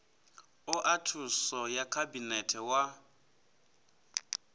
oa thuso ya khabinete wa